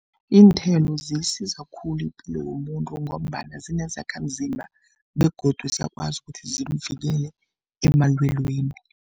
Iinthelo ziyisiza khulu ipilo yomuntu ngombana zinezakhamzimba begodu ziyakwazi ukuthi zimvikele emalweleni.